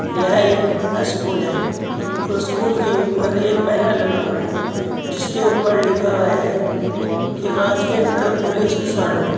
यह एक स्कूल है और स्कूल के ऊपर एक बैनर लगा हुआ है जिसके ऊपर लिखा है की राजकीय इंटर कॉलेज सरनपुर।